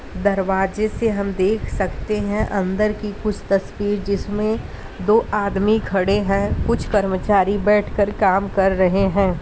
दरवाजे से हम देख सकते है अंदर की कुछ तस्वीर जिसमें दो आदमी खड़े है कुछ कर्मचारी बैठ कर काम कर रहें हैं।